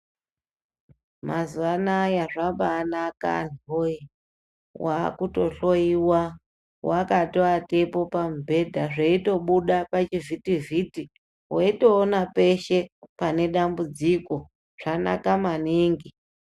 Mazuwaanaya zvabaanaka anthuwoyee wakutohloyiwa wakatoatepo pamubhedha zveitobuda pachivhitivhiti weitoona peshe pane dambudziko zvanaka maningi.